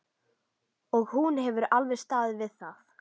Og hún hefur alveg staðið við það.